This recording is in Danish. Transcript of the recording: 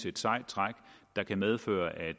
et sejt træk der kan medføre at